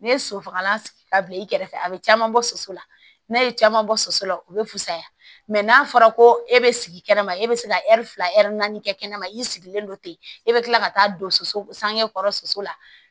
Ne ye sosofagalan sigi ka bila i kɛrɛfɛ a bɛ caman bɔ soso la n'a ye caman bɔ soso la u bɛ fisaya mɛ n'a fɔra ko e bɛ sigi kɛnɛma e bɛ se ka ɛri fila ɛri naani kɛ kɛnɛma i sigilen don ten e bɛ kila ka taa don soso sange kɔrɔ soso la